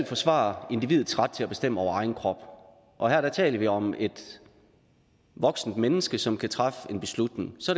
forsvare individets ret til at bestemme over egen krop og her taler vi om et voksent menneske som kan træffe en beslutning så